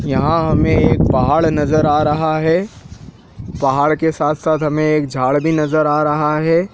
यहाँ हमें एक पहाड़ नज़र आ रहा है पहाड़ के साथ-साथ हमें एक झाड़ भी नज़र आ रहा है।